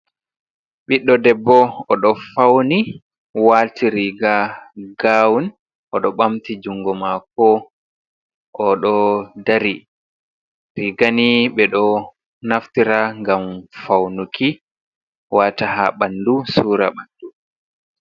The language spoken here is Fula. Ɓiɗɗo debbo, o ɗo fawni waati riiga gawun, o ɗo ɓamti junngo maako, o ɗo dari. Riiga ni ɓe ɗo naftira ngam fawnuki waata haa ɓanndu suura ɓanndu.